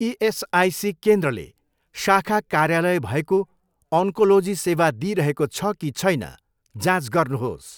ESIC केन्द्रले शाखा कार्यालय भएको ओन्कोलोजी सेवा दिइरहेको छ कि छैन जाँच गर्नुहोस्।